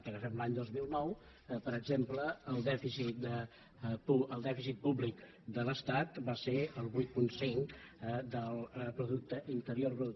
agafem l’any dos mil nou per exemple el dèficit públic de l’estat va ser el vuit coma cinc del producte interior brut